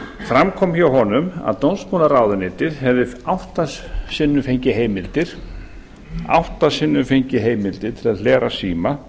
fram kom hjá honum að dómsmálaráðuneytið hefði átta sinnum fengið heimildir til að hlera síma